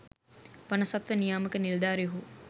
වනසත්ව නියාමක නිලධාරීහු